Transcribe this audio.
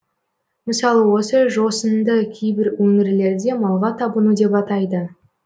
мысалы осы жосынды кейбір өңірлерде малға табыну деп атайды